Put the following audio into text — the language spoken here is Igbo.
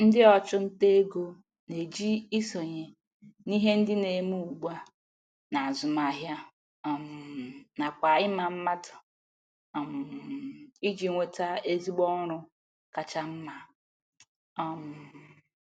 Ndị ọchụnta ego na-eji isonye n'ihe ndị na-eme ugbua n'azụmahịa um nakwa ịma mmadụ um iji nweta ezigbo ọrụ kacha mma. um